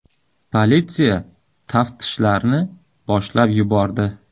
Politsiya taftishlarni boshlab yubordi.